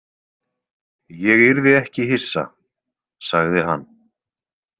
Ég yrði ekki hissa, sagði hann.